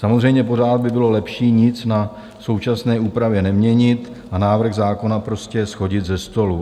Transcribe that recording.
Samozřejmě pořád by bylo lepší nic na současné úpravě neměnit a návrh zákona prostě shodit ze stolu.